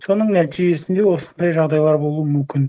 соның нәтижесінде осындай жағдайлар болуы мүмкін